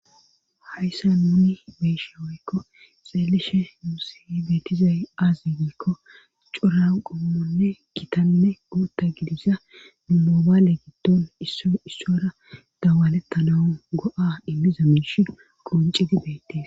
hayssa nuni beyishe woykko xeelishe yuusi beetizay aazi giikko curanqomonne kitanne guutta gidisa mumoobaale giddon issora dawalettana go7a immiza minsh qonci di beettees